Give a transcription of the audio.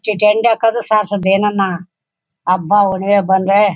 ಹಕ್ಕೋದು ಸರ್ಸೋದು ಏನನ ಹಬ್ಬ ಎಲ್ಲ ಬಂದ್ರೆ --